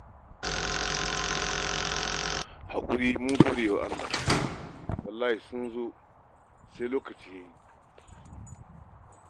Haƙuri... mun gode wa Allah, wallahi sun zo sa'i, lokaci ya yi.